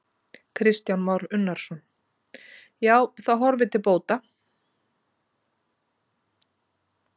Kristján Már Unnarsson: Já, það horfir til bóta?